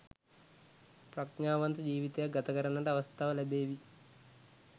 ප්‍රඥාවන්ත ජීවිතයක් ගතකරන්නට අවස්ථාව ලැබේවි